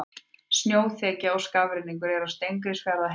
Snjóþekja og skafrenningur er á Steingrímsfjarðarheiði